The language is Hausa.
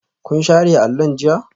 Kun share allon jiya?